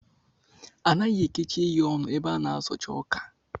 Anaghị ekechi ehi ọnụ ebe a na-azocha ọkà